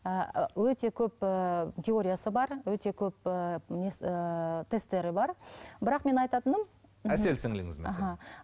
ы өте көп ііі теориясы бар өте көп ііі несі ііі тестері бар бірақ мен айтатыным әсел сіңіліңіз мысалы аха